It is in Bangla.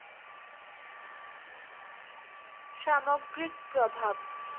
সামগ্রিক প্রভাব